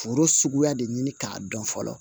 Foro suguya de ɲini k'a dɔn fɔlɔ